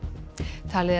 talið er